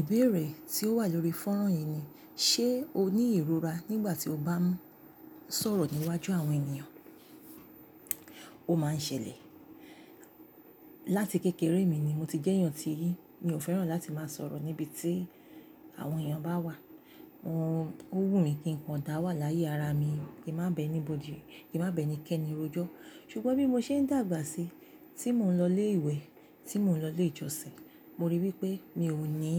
Ìbéèrè tí ó wà lórí fónrán yìí ni, ṣe o ní ìrora nígbà tí o bá ń sọ̀rọ̀ níwájú àwọn ènìyàn? Ó máa ń ṣẹlẹ̀. Láti kékeré mi ni mo ti jẹ́ èèyàn tí, mi ò fẹ́ràn láti máa sọ̀rọ̀ níbi tí àwọn èèyàn bá wà. Ówù mi kí nǹkan dà wà láyè ara mi, kí má bá ẹ ni kẹ́ni rojọ́. Ṣùgbọ́n bí mo ṣe ń dàgbà sí, tí mò ń lọ ilé ìwé, tí mò ń lọ ilé ìjọsìn, mo rí wí pé mi ò ní,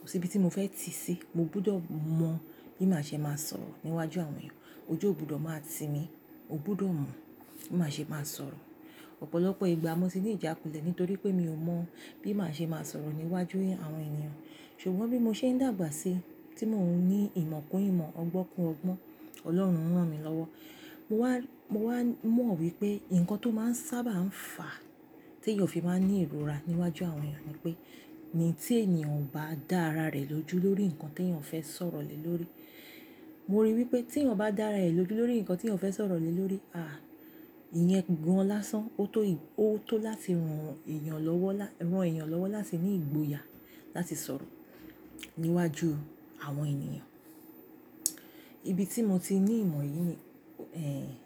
kò sí ibi tí mo fẹ́ tì sí. Mo gbọ́dọ̀ mọ bí màá ṣe máa sọ̀rọ̀ níwájú àwọn èèyàn. Ojú ò gbọ́dọ̀ máa ti mí, o gbọ́dọ̀ mọ̀ bí màá ṣe máa sọ̀rọ̀. Ọ̀pọ̀lọpọ̀ ìgbà mo ti ní ìjákulẹ̀ nítorí pé mi ò mọ̀ bí màá ṣe máa sọ̀rọ̀ níwájú àwọn ènìyàn. Ṣùgbọ́n bí mo ṣe ń dàgbà sí, tí mò ń ní ìmọ̀ kún ìmọ̀, ọgbọ́n kún ọgbọ́n, Ọlọ́run rán mi lọ́wọ́. Mo wá, mo wá mọ̀ wí pé nǹkan tó máa ń sábà ń fà tí èèyàn fi máa ń ní ìrora níwájú àwọn èèyàn ni pé, ní tí èèyàn ò bá dá ara rẹ̀ lójú lórí nǹkan tí èèyàn fẹ́ sọ̀rọ̀ lé lórí. Mo rí i wí pé tí èèyàn bá dá ara rẹ̀ lójú lórí nǹkan tí èèyàn fẹ́ sọ̀rọ̀ lé lórí, à, ìyẹn gan-an lásán. Ó tó, ó tó láti ran èèyàn lọ́wọ́ lá-- ran èèyàn lọ́wọ́ láti ní ìgboyà láti sọ̀rọ̀ níwájú àwọn ènìyàn. Ibi tí mo ti ní ìmọ̀ yìí ni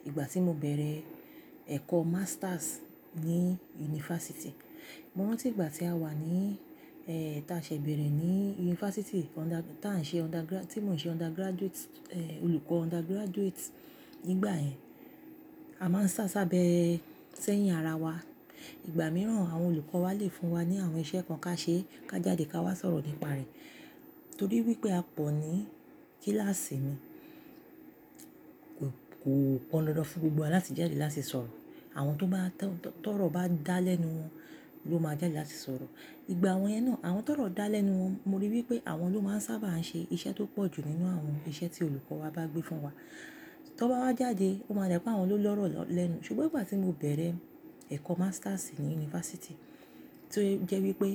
ìgbà tí mo bẹ̀rẹ̀ ẹ̀kọ́ masters ní yunifásítì. Mo rántí ìgbà tí a wà ní ta ṣè bẹ̀rẹ̀ ní yunifásítì, ta ń ṣe undergra-- tí mò ń ṣe undergraduate, olùkọ́ undergraduate. Nígbà yẹn, a máa ń sá sábẹ́ sẹ́yìn ara wa. Ìgbà mìíràn àwọn olùkọ́ wa lè fún wa ní àwọn iṣẹ́ kan ká ṣe, ká jáde ká wá sọ̀rọ̀ nípa rẹ̀. Nítorí wí pé a pọ̀ ní kíláàsì mi. Kò, kò pọn dandan fún gbogbo wa láti jáde láti sọ̀rọ̀. Àwọn tó bá tọ̀rọ̀ bá dá lẹ́nu wọn ló máa jáde láti sọ̀rọ̀. Ìgbà àwọn yẹn náà, àwọn tó ọ̀rọ̀ dá lẹ́nu wọn, mo rí i wí pé àwọn ló máa ń sábà ń ṣe iṣẹ́ tó pọ̀ jù nínú àwọn iṣẹ́ tí olùkọ́ wa bá gbé fún wa. Tí wọ́n bá wá jáde, ó máa dà pé àwọn ló lọ́rọ̀ lẹ́nu. Ṣùgbọ́n ìgbà tí mo bẹ̀rẹ̀ ẹ̀kọ́ masters ní yunifásítì, tí ó jẹ́ wí pé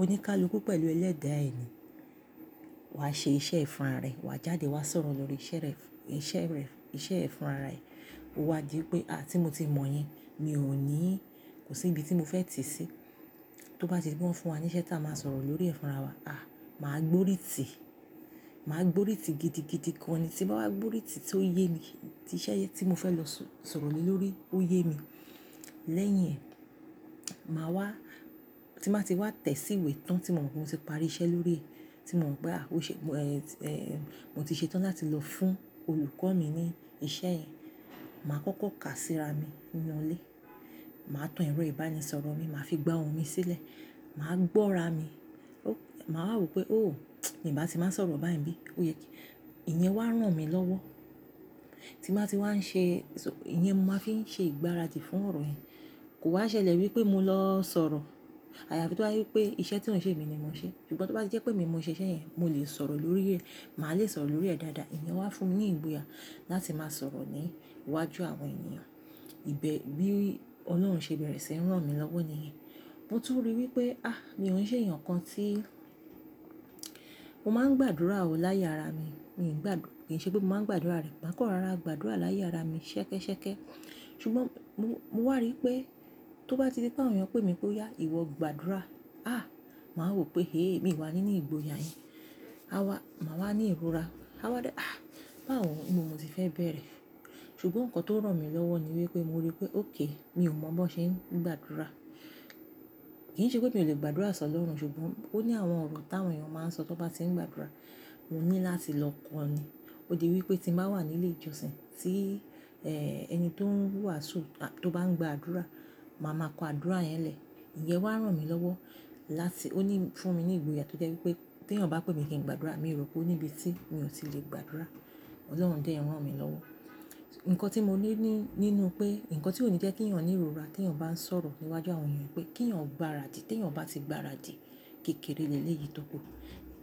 oníkálukú pẹ̀lú ẹlẹ́dàá ẹ̀ ni. Wa ṣe iṣẹ́ e fúnra rẹ, wa jáde wa sọ̀rọ̀ lórí iṣẹ́ rẹ, iṣẹ́ rẹ, iṣẹ́ ẹ fúnra ẹ ó wá di pé, à, tí mo ti mọ̀ yin, mi ò ní, kò sí ibi tí mo fẹ́ tì sí. Tó bá ti pé wọ́n fún wa ní iṣẹ́ tí a máa sọ̀rọ̀ lórí ẹ̀ fúnra wa, à, màá gbórí tì. Màá gbórí tì gidi gidi kan ni tí bá wá gbórí tì tó yé mi, tí iṣẹ́ yẹn tí mo fẹ́ lọ sọ̀rọ̀ lé lórí ó yé mi. Lẹ́yìn ẹ, màá wá, tí màá ti wá tẹ̀síwẹ́ tán tí mò ń rí pé mo ti parí iṣẹ́ lórí rẹ̀, tí mò màn pé áà, ó ṣe mo ti ṣetán láti lọ fún olùkọ́ mi ní iṣẹ́ yẹn. Màá kókó kà síra mi nínú ilé. Màá tan ẹ̀rọ ìbánisọ̀rọ̀ mi, màá fi gbá ohùn mi sílẹ̀. Màá gbọ́ra mi. Ma wá wò pé, "Oh, mi máa ti máa sọ̀rọ̀ báyìí bí? Ó yẹ kí-- ìyẹn wá rán mí lọ́wọ́." Tí màá ti wá ṣe, ìyẹn màá fi ń ṣe ìgbáradì fún ọ̀rọ̀ yẹn. Kò wá ṣẹlẹ̀ wí pé mo lọ sọ̀rọ̀. Àyàfi tóbá jẹ́ pé wí pé iṣẹ́ tí ò n ṣe èmi ni mo ṣé ṣùgbọ́n tó bá ti jẹ́ pé èmi mo ṣe iṣẹ́ yẹn, mo lè sọ̀rọ̀ lórí rẹ̀. Màá le sọ̀rọ̀ lórí rẹ̀ dáadáa. Ìyẹn wá fún mi ní ìgboyà láti máa sọ̀rọ̀ ní iwájú àwọn ènìyàn. Ibè bí Ọlọ́run ṣe bẹ̀rẹ̀ sí rán mi lọ́wọ́ nìyẹn. Mo tún rí i wí pé, ah, mi ò ń ṣe èèyàn kan tí mo máa ń gbàdúrà ó láyè ara mi. Mi ò ń gbà-- kì í ṣe pé mo máa ń gbàdúrà rẹ̀, màá kàn rọra gbàdúrà láyé ara mi ṣẹ́kẹ́ṣẹ́kẹ́. Ṣùgbọ́n mo, mo wà rí i pé tó bá ti di pé àwọn èèyàn pè mí pé, "Ìwọ gbàdúrà." Ah, màá wò pé, "Hee, miì wà ní ní ìgboyà yẹn a wá, màá wá ní ìrora. A wà dá, "Ah, báwo ni mo ti fẹ́ bẹ̀rẹ̀?" Ṣùgbọ́n nǹkan tó rán mi lọ́wọ́ ni wí pé mo rí i pé, "Okay, mi ò mọ bó ṣe ń gbàdúrà." Kì í ṣe pé mi ò lè gbàdúrà sọ lọ́run, ṣùgbọ́n ó ní àwọn ọ̀rọ̀ táwọn èèyàn máa ń sọ tó bá tí ń gbàdúrà. Mo ní láti lọ kọ́ni. Ó di wí pé tí mo bá wà nílé ìjọsìn tí ẹni tó ń wàásù tó bá ń gbàdúrà, màá máa kọ àdúrà yẹn lẹ̀. Ìyẹn wá rán mi lọ́wọ́ láti-- ó ní fún mi ní ìgboyà tó jẹ́ wí pé tí èèyàn bá pè mí kí n gbàdúrà, mi ò rò pé ó níbi tí mi ò tí lè gbàdúrà. Ọlọ́run dẹ̀ rán mí lọ́wọ́. Ǹkan tí mo ní ní, nínú pé, ǹkan tí ó ní jẹ́ kí èèyàn ní ìrora tí èèyàn bá ń sọ̀rọ̀ níwájú àwọn èèyàn pé kí èèyàn gbáradì. Tí èèyàn bá ti gbáradì kékeré leléyìí tókù,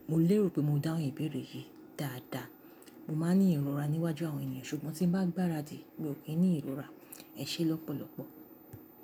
mo lérò pé mo dáhùn ìbéèrè yìí dáadáa. Mo máa ní ìrora níwájú àwọn èèyàn, ṣùgbọ́n tí ń bá gbáradì, mi ò kí ń ní ìrora. Ẹ ṣé lọ́pọ̀lọpọ̀.